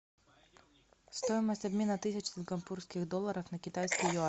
стоимость обмена тысячи сингапурских долларов на китайские юани